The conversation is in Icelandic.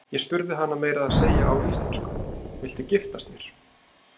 Ég spurði hana meira að segja á íslensku: Viltu giftast mér?